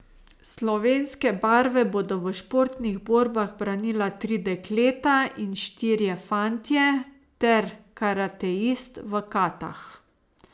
Slovenske barve bodo v športnih borbah branila tri dekleta in štirje fantje ter karateist v katah.